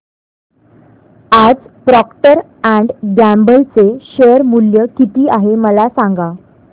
आज Procter and Gamble चे share मूल्य किती आहे मला सांगा